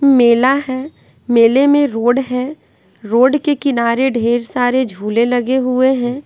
मेला है मेले में रोड है रोड के किनारे ढेर सारे झूले लगे हुए हैं।